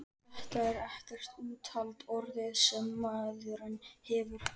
Þetta er ekkert úthald orðið, sem maðurinn hefur!